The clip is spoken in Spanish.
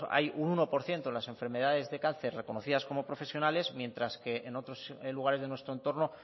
hay un uno por ciento en las enfermedades de cáncer reconocidas como profesionales mientras que en otros lugares de nuestro entorno